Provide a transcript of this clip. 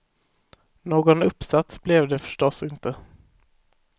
Någon uppsats blev det förstås inte.